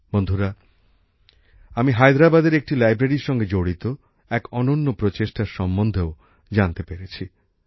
বন্ধুরা আমি হায়দ্রাবাদের একটি লাইব্রেরীর সঙ্গে জড়িত এক অনন্য উদ্যোগের সম্বন্ধেও জানতে পেরেছি